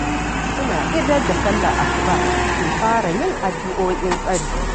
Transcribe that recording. Suna idar da sallar asuba suke fara yin addu'o'in tsari